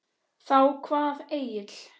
Þá kvað Egill